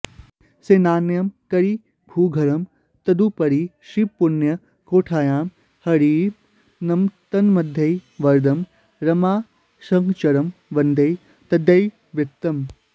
सेनान्यं करिभूधरं तदुपरि श्रीपुण्यकोट्यां हरिं तन्मध्ये वरदं रमासहचरं वन्दे तदीयैर्वृतम्